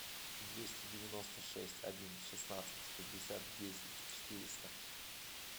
двести девяносто шесть один шестнадцать шестьдесят десять четыреста